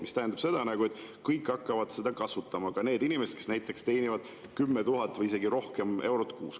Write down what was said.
See tähendab seda, et kõik hakkavad seda kasutama, ka need inimesed, kes teenivad 10 000 eurot kuus või isegi rohkem.